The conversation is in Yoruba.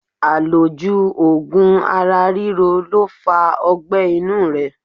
Àlòjù ogun ara ríro lo fa ogbé̩ inú rẹ